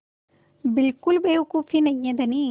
बिल्कुल बेवकूफ़ी नहीं है धनी